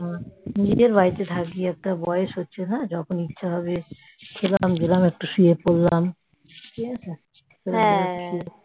নিজের বাড়িতে থাকব বয়স হচ্ছে না যখন ইচ্ছা হবে খেলাম দিলাম শুয়ে পড়লাম